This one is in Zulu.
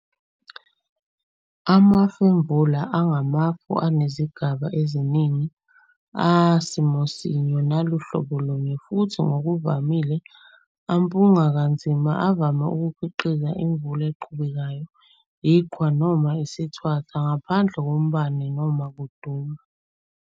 Amafemvula angamafu anezigaba eziningi, asimosinye naluhlobolunye, futhi ngokuvamile ampunga kanzima, avame ukukhiqiza imvula eqhubekayo, iqhwa, noma isithwathwa, ngaphandle kombani noma ukuduma.